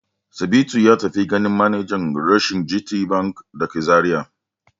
Sabitu ya tafi ganin manajan reshen GTBank da ke Zariya.